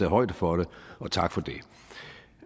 højde for det og tak for